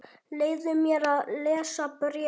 Leyfðu mér að lesa bréfið